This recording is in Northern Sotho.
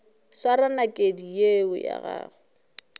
swara nakedi yeo ya gago